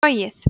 sogið